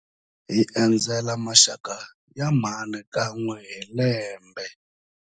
Hi endzela maxaka ya mhani kan'we hi lembe.